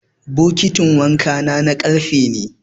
bokitin wanka na karfe ne